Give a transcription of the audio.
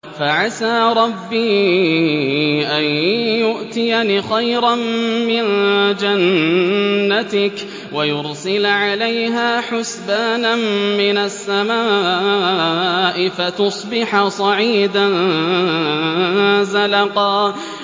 فَعَسَىٰ رَبِّي أَن يُؤْتِيَنِ خَيْرًا مِّن جَنَّتِكَ وَيُرْسِلَ عَلَيْهَا حُسْبَانًا مِّنَ السَّمَاءِ فَتُصْبِحَ صَعِيدًا زَلَقًا